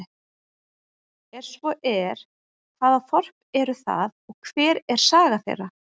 Er svo er, hvaða þorp eru það og hver er saga þeirra?